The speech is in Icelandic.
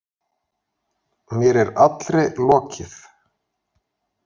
Mér er allri lokið.